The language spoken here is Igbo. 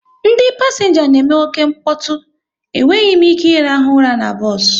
Ndị pasenga na eme oke nkpotu, e nweghị m ike irahu ụra n'bos